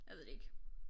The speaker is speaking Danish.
Jeg ved det ikke